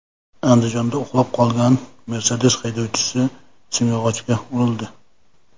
Andijonda uxlab qolgan Mercedes haydovchisi simyog‘ochga urildi.